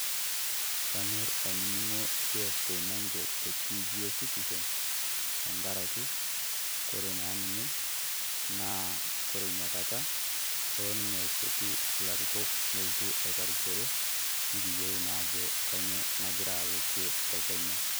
Kanyorr ainining'o Jeff Koinange tentiifi esitisen, tengaraki ore naa ninye naa kore Ina Kata naa kelo ninye aipotu ilarikok nelo aiparishore nikiyiolou naa ajo kanyio nagira alo kwe te Kenya.